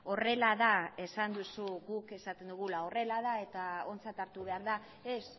horrela da esan duzu guk esaten dugula horrela da eta ontzat hartu behar da ez